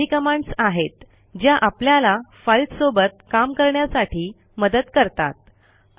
या काही कमांडस आहेत ज्या आपल्याला फाईल्स सोबत काम करण्यासाठी मदत करतात